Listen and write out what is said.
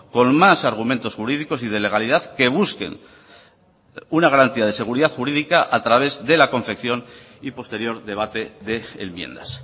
con más argumentos jurídicos y de legalidad que busquen una garantía de seguridad jurídica a través de la confección y posterior debate de enmiendas